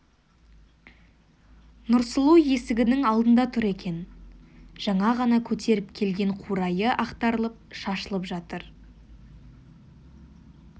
нұрсұлу есігінің алдында тұр екен жаңа ғана көтеріп келген қурайы ақтарылып шашылып жатыр